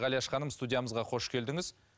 ғалияш ханым студиямызға қош келдіңіз